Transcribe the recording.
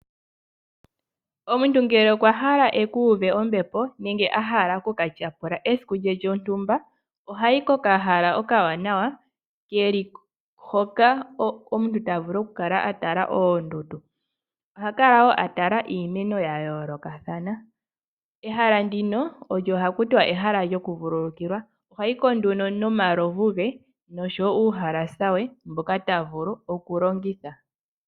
Omuntu ngele okwa hala akuve ombepo nenge ahala okuka tyapula esiku lye lyontumba ohahi kokahala okawanawa eli hoka omuntu tavulu okukala atala oondundu ohakala wo atala iimeno ya yolokathana. Ehala ndino olyo hakuti ehala lyo kuvululukilwa , oha hiki nduno nomalovu ge nuhalasa we mboka tavulu oku longitha.